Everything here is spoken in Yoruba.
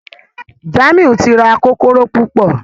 Jamiu tí rá Kókóró púpọ.